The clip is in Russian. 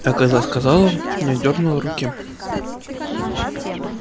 а когда сказала не отдёрнула руки